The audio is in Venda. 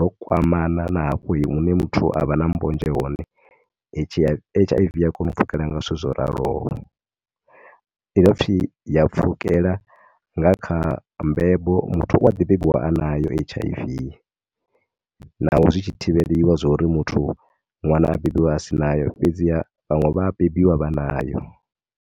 lo kwamana na hafho hune muthu a vha na mbodzhe hone. H_I_V i ya kona u pfhukhela nga zwithu zwo raloho. I dovha futhi ya pfhukhela nga kha mbebo, muthu u a ḓi bebiwa a nayo H_I_V. Naho zwi tshi thivheliwa zwo ri muthu, ṅwana a bebiwe a si nayo, vhaṅwe vha ya bebiwa vha nayo.